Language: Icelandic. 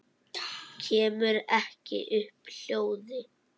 Kemur ekki upp hljóði.